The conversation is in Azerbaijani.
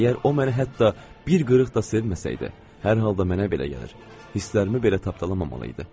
Əgər o mənə hətta bir qırıq da sevməsəydi, hər halda mənə belə gəlir, hisslərimi belə tapdalamamalıydı.